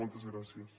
moltes gràcies